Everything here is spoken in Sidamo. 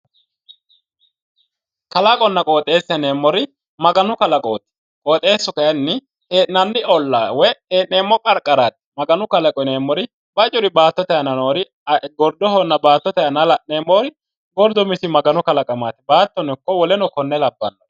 Kalaqonna qooxeessa yineemmori maganu kalaqooti. Qooxeessu kayinni hee'nanni ollaa woyi hee'nanni qarqaraati. Maganu kalaqo yineemmori bacuri baattote aana noori gordohonna baattote aanaa la'neemmori gordu umisi maganu kalaqamaati. Baattono ikko woleno konne labbawori.